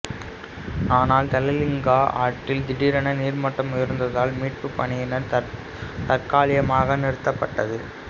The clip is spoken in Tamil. ஆனால் தௌலிகங்கா ஆற்றில் திடீரென நீர்மட்டம் உயர்ந்ததால் மீட்புப்பணி தற்காலிகமாக நிறுத்தப்பட்டது